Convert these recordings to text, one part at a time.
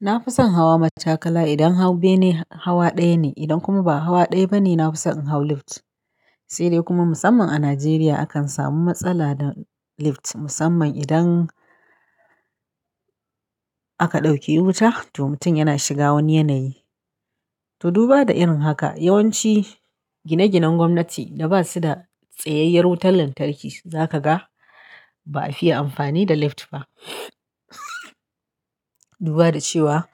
Na fi son hawa mattakala idan hau bene hawa ɗaya ne, idan kuma ba hawa ɗaya ba ne, na fi son in hau lifta. Sai dai kuma musamman a Najeriya akan samu matsala da lift musamman idan aka ɗauke wuta toh mutum yana shiga wani yanayi. To duba da irin haka yawanci gine-ginen gwamnati da ba su da tsayayyar wutar lantarki za ka ga ba a fiye amfani da lift ba. Duba da cewa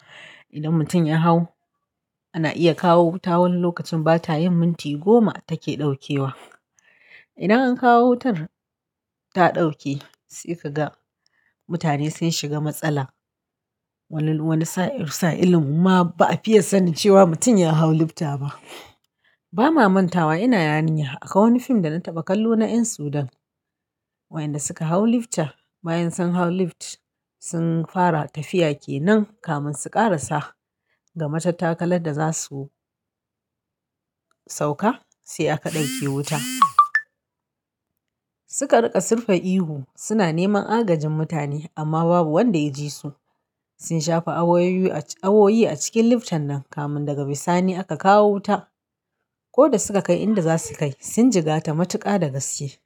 idan mutum ya hau ana iya kawo wuta wani lokacin bata yin minti goma take ɗaukewa. Idan an kawo wutar ta ɗauke sai ka ga mutane sun shiga matsala. Wani, wani sa'in sa'ilin ma ba a fiye sanin cewa mutum ya hau lifta ba. Ba ma manta wa ina yarinya akwai wani fim da na taɓa kallo na ƴan Sudan wayanda suka hau lifta. Bayan san hau lift sun fara tafiya ke nan kamin su ƙarasa ga matattakalar da za su sauka sai aka ɗauke wuta. Suka riƙa sirfa ihu suna neman agajin mutane amma babu wanda ya ji su. Sun shafe awoyoyi a awoyi a cikin lifta nan kamun daga bisani aka kawo wuta. Ko da suka kai inda za su kai sun jigata matuƙa da gaske.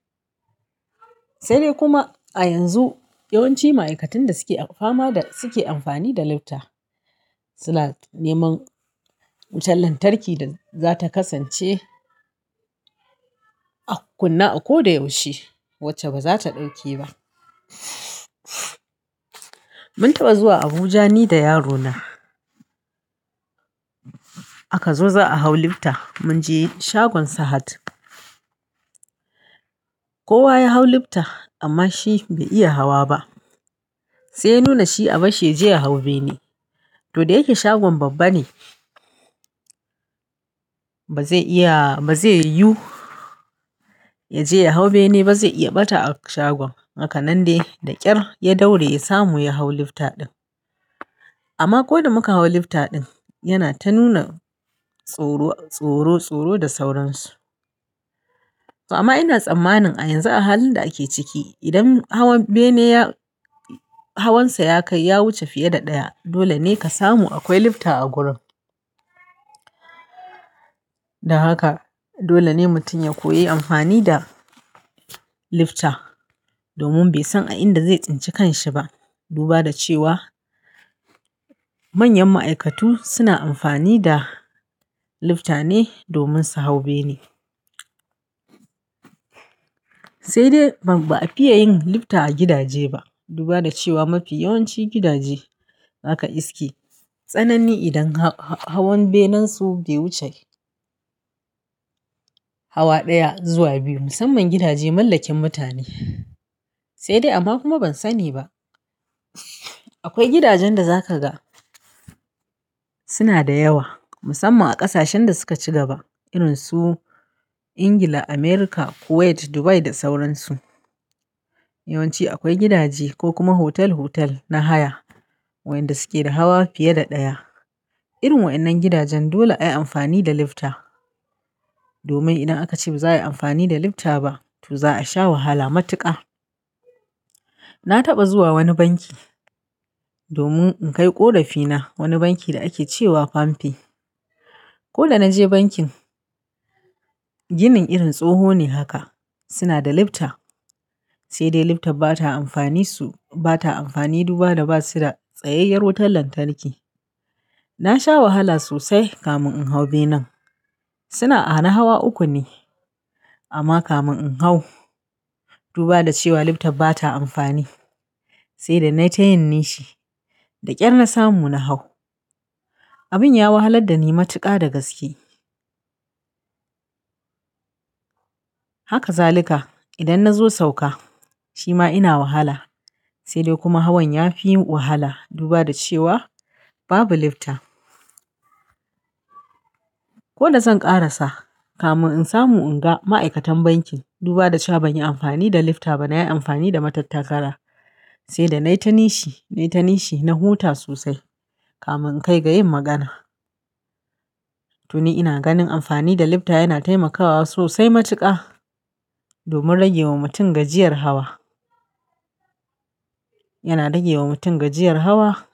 Sai dai kuma a yanzu yawanci ma'aikatan da suke a fama da suke amfani da lifta suna neman wutar lantarki da za ta kasance a kunne a ko da yaushe wacce ba za ta ɗauke ba. Mun taɓa zuwa Abuja ni da yarona. Aka zo za a hau lifta mun je shagon Sahad. Kowa ya hau lifta amma shi bai iya hawa ba. Sai ya nuna shi a bashshi ya je ya hau bene. To da yake shagon babba ne ba zai iya ba zai yuyu ya je ya hau bene ba zai iya ɓata a shagon. Haka nan dai da ƙyar ya daure ya samu ya hau lifta ɗin. Amma ko da muka hau lifta ɗin yana ta nuna tsoro, tsoro, tsoro da sauransu. Amma ina tsammanin a yanzu a halin da ake ciki idan hawan bene ya, hawansa ya kai ya wuce fiye da ɗaya dole ne ka samu akwai lifta a gurin. Dan haka dole ne mutum ya koyi amfani da lifta domin bai san a inda zai tsince kanshi ba. Duba da cewa manyan ma'aikatu suna amfani da lifta ne domin su hau bene. Sai dai ba a fiye yin lifta a gidaje ba. Duba da cewa mafi yawanci gidaje aka iske. Tsanani idan hawan benen su bai wuce hawa ɗaya zuwa biyu musamman gidaje mallakin mutane. Sai dai amma kuma ban sani ba. Akwai gidajen da za ka ga suna da yawa musamman a ƙasashen da suka ci gaba irin su Ingila, America, Kuwait, Dubai da sauransu. Yawanci akwai gidaje ko kuma hotel-hotel na haya wayanda suke da hawa fiye da ɗaya. Irin wa'ennan gidajen dole ayi amfani da lifta. Domin idan aka ce ba za a yi amfani da lifta ba to za a sha wahala matuƙa. Na taɓa zuwa wani banki domin in kai ƙorafina wani banki da ake cewa "palmpay". Ko da na je bankin ginin irin tsoho ne haka. Suna da lifta. Sai dai lifta ba ta amfani su ba ta amfani duba da ba su da tsayayyar wutar lantarki. Na sha wahala sosai kamin in hau benen. Suna a na hawa uku ne amma kamin in hau duba da cewa lifta ba ta amfani sai dai na tayin nishi. Da ƙyar na samu na hau. Abin ya wahalar da ni matuƙa da gaske. Haka zalika idan na zo sauka shi ma ina wahala. Sai dai kuma hawan ya fi yin wahala duba da cewa babu lifta. Ko da zan ƙarasa kamin in samu in ga ma'aikatan bankin duba da cha ban yi amfani da lifta ba na yi amfani da matattakala. Sai dai na yi tanishi, na yi tanishi. Na huta sosai kamin in kai ga yin magana. To ni ina ganin amfani da lifta yana taimakawa sosai matuƙa domin rage wa mutum gajiyar hawa. Yana rage wa mutum gajiyar hawa.